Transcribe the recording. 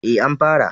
E, an fara.